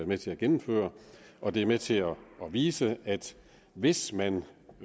med til at gennemføre og det er med til at vise at hvis man